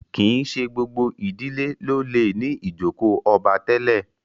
kín ṣe gbogbo ìdílé ló lẹ ní ijoko obá tèlé.